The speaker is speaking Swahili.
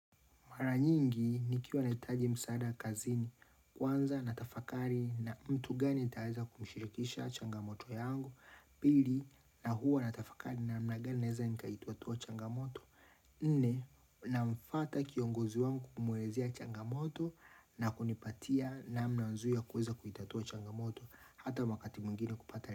Mara nyingi nikiwa naitaji msaada kazini kwanza natafakari na mtu gani nitaweza kumshirikisha changamoto yangu pili na huwa natafakari namna gani naeza nikaituatua changamoto. Nne namfwata kiongozi wangu kumwelezea changamoto na kunipatia namna nzuri ya kuweza kuitatua changamoto hata wakati mwingine kupata.